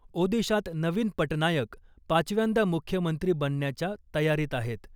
ओदिशात नवीन पटनायक पाचव्यांदा मुख्यमंत्री बनण्याच्या तयारीत आहेत .